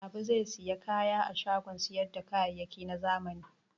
Habu zai sayi kaya a shagon sayar da kayayyaki na zamani.